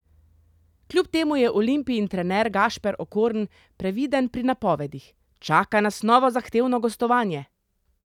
Kljub temu je Olimpijin trener Gašper Okorn previden pri napovedih: "Čaka nas novo zahtevno gostovanje.